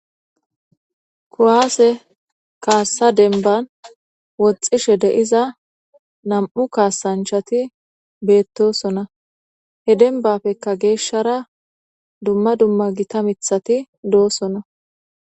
Kuwaase kaasa dembban woxxishe de'iza nam'u kaasanchati beetosona. He dembappekka geeshara dumma dumma gita miththati doosona.